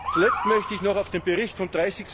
Zuletzt möchte ich noch auf den Bericht vom